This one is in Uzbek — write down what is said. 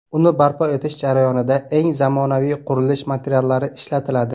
Uni barpo etish jarayonida eng zamonaviy qurilish materiallari ishlatiladi.